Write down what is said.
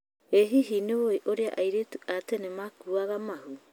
ĩ hihi nĩũwĩ ũrĩa airĩtu a tene makuuaga mahu?